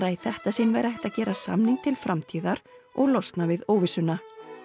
í þetta sinn verði hægt að gera samning til framtíðar og losna við óvissuna